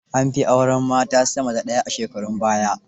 An fi auren mata sama da ɗaya a shekarun baya.